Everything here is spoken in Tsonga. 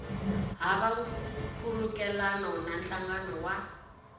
hava nkhulukelano na nhlangano wa